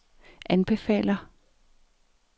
anbefaler